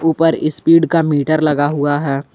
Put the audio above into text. ऊपर स्पीड का मीटर लगा हुआ है।